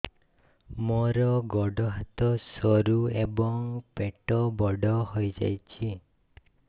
ମୋର ଗୋଡ ହାତ ସରୁ ଏବଂ ପେଟ ବଡ଼ ହୋଇଯାଇଛି